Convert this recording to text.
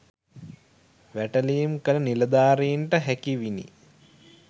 වැටලීම් කළ නිලධාරීන්ට හැකිවිනි